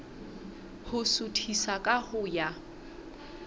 ho suthisa ka ho ya